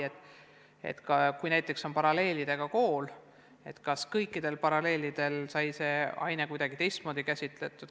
Näiteks võib olla nii, et on paralleelklassidega kool, aga mõnel klassil on sama ainet kuidagi teistmoodi käsitletud.